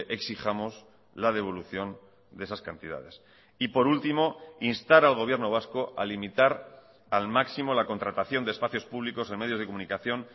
exijamos la devolución de esas cantidades y por último instar al gobierno vasco a limitar al máximo la contratación de espacios públicos en medios de comunicación